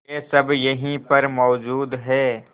वे सब यहीं पर मौजूद है